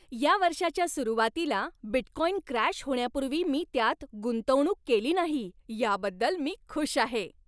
या वर्षाच्या सुरुवातीला बिटकॉइन क्रॅश होण्यापूर्वी मी त्यात गुंतवणूक केली नाही याबद्दल मी खुश आहे.